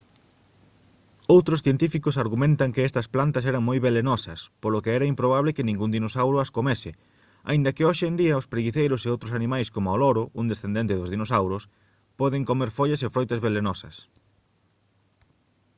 outros científicos argumentan que estas plantas eran moi velenosas polo que era improbable que ningún dinosauro as comese aínda que hoxe en día os preguiceiros e outros animais coma o loro un descendente dos dinosauros poden comer follas e froitas velenosas